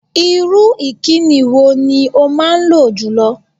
Irú ìkíni wo ni o máa lò jùlọ?